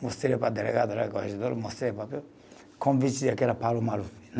Mostrei para o delegado, mostrei o papel. Convite, que era Paulo Maluf, né?